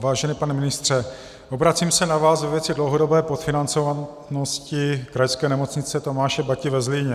Vážený pane ministře, obracím se na vás ve věci dlouhodobé podfinancovanosti Krajské nemocnice Tomáše Bati ve Zlíně.